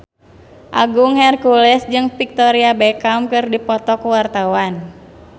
Agung Hercules jeung Victoria Beckham keur dipoto ku wartawan